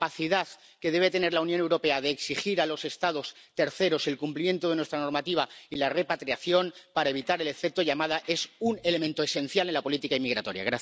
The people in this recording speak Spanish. La capacidad que debe tener la Unión Europea de exigir a los Estados terceros el cumplimiento de nuestra normativa y la repatriación para evitar el efecto llamada es un elemento esencial en la política inmigratoria.